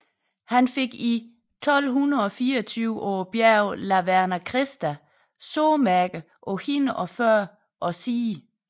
Han fik i 1224 på bjerget La Verna Kristi sårmærker på hænder og fødder og side